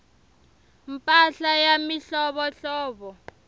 mpahla ya mihlovohlovo